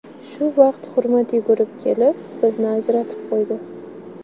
Shu vaqt Hurmat yugurib kelib, bizni ajratib qo‘ydi.